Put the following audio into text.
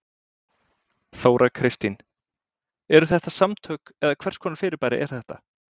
Þóra Kristín: Eru þetta samtök eða hvers konar fyrirbæri er þetta?